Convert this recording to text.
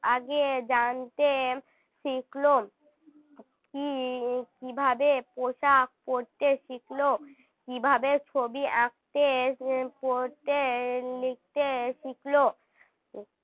আগে জানতে শিখল কী~ কীভাবে পোশাক পরতে শিখল কীভাবে ছবি আঁকতে এর পড়তে লিখতে শিখল